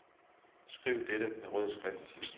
Skriv dette med rød skrift.